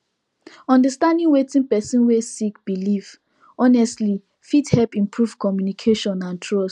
understanding wetin person wey sik biliv honestly fit hep improve communication and trust